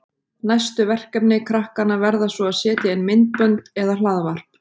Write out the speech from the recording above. Næstu verkefni krakkanna verða svo að setja inn myndbönd eða hlaðvarp.